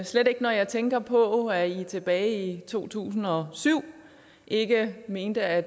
slet ikke når jeg tænker på at i tilbage i to tusind og syv ikke mente at